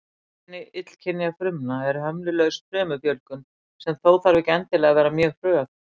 Einkenni illkynja frumna er hömlulaus frumufjölgun, sem þó þarf ekki endilega að vera mjög hröð.